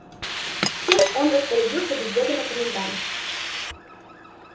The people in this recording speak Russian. всем он распорядился без ведома комендант